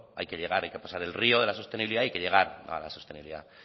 hay que llegar hay que pasar el río de la sostenibilidad hay que llegar a la sostenibilidad